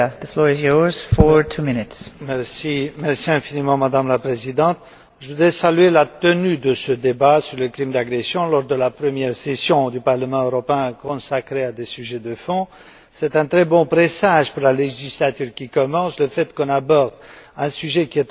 Madame la Présidente, je voudrais saluer la tenue de ce débat sur les crimes d'agression lors de la première session du Parlement européen consacrée à des sujets de fond. C'est un très bon présage, pour la législature qui commence, le fait que l'on aborde un sujet qui est au cœur de nos préoccupations pour la défense des droits de l'homme.